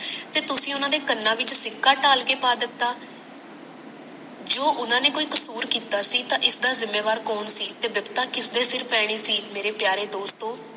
ਤੇ ਤੁਸੀ ਉਹਨਾਂ ਦੇ ਕਨਾਂ ਵਿੱਚ ਸਿੱਕਾ ਟਾਲ ਕੇ ਪਾ ਦਿਤਾ ਜੋ ਉਹਨਾਂ ਨੇ ਕੋਈ ਕਸੂਰ ਕੀਤਾ ਸੀ ਤਾਂ ਇਸਦਾ ਜਿਮੇਵਾਰ ਕੌਣ ਸੀ ਤੇ ਦੰਢਤਾ ਕਿਸਦੇ ਸਰ ਪੈਣੀ ਸੀ ਮੇਰੇ ਪਿਆਰੇ ਦੋਸਤੋਂ